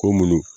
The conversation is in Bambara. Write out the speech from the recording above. Ko munnu